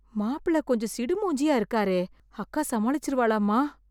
மாப்பிள கொஞ்சம் சிடுமூஞ்சியா இருக்காரே, அக்கா சமாளிச்சுருவாளாம்மா?